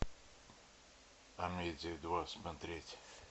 амедия два смотреть